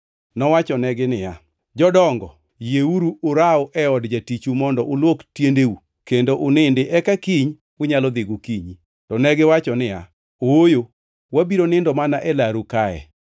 Nowachonegi niya, “Jodongo, yieru uraw e od jatichu mondo ulwok tiendeu kendo unindi eka kiny unyalo dhi gokinyi.” To negiwacho niya, “Ooyo, wabiro nindo mana e laru kae.”